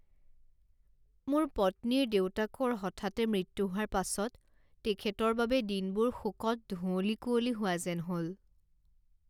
মোৰ পত্নীৰ দেউতাকৰ হঠাতে মৃত্যু হোৱাৰ পাছত তেখেতৰ বাবে দিনবোৰ শোকত ধুঁৱলী কুঁৱলী হোৱা যেন হ'ল।